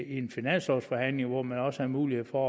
en finanslovsforhandling hvor man også havde mulighed for